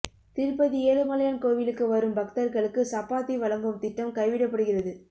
திருப்பதி ஏழுமலையான் கோவிலுக்கு வரும் பக்தர்களுக்கு சப்பாத்தி வழங்கும் திட்டம் கைவிடப்படுகிறது